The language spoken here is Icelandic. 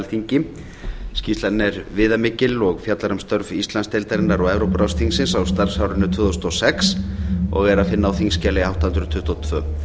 alþingi skýrslan er viðamikil og fjallar um störf íslandsdeildarinnar og evrópuráðsþingsins á starfsárinu tvö þúsund og sex og er að finna á þingskjali átta hundruð tuttugu og tvö